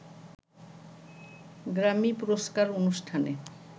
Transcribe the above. Grammy পুরস্কার অনুষ্ঠানে